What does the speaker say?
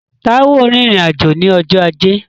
Táíwò rìnrìn-àjò ní ọjọ́ ajé